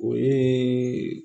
O ye